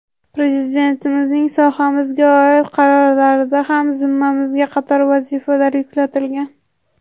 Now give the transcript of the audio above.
Prezidentimizning sohamizga oid qarorlarida ham zimmamizga qator vazifalar yuklatilgan.